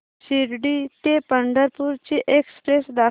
शिर्डी ते पंढरपूर ची एक्स्प्रेस दाखव